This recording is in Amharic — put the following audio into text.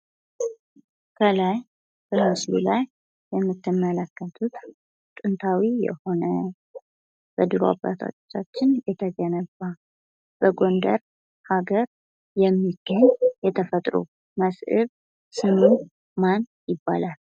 ከላይ በምስሉ ላይ የምትመለከቱት ጥንታዊ የሆነ በድሮ አባቶቻችን የተገነባ በጎንደር ሀገር የሚገኝ የተፈጥሮ መስህብ ስሙ ማን ይባላል?